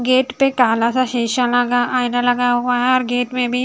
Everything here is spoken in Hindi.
गेट पे काला सा शीशा लगा आईना लगा हुआ है और गेट मे भी।